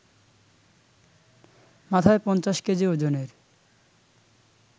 মাথায় ৫০ কেজি ওজনের